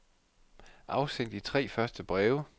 Afsend de tre første breve.